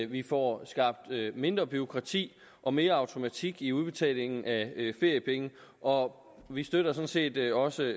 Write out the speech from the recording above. vi får skabt mindre bureaukrati og mere automatik i udbetalingen af feriepenge og vi støtter sådan set også